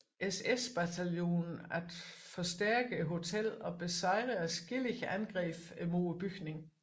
SS bataljon at forstærke hotellet og besejre adskillige angreb mod bygningen